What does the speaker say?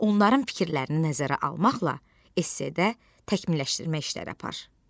Onların fikirlərini nəzərə almaqla esse-də təkmilləşdirmə işləri apar.